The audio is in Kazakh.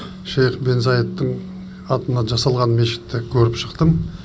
шейх бен заидтің атынан жасалған мешітті көріп шықтым